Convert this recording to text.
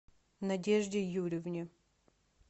надежде юрьевне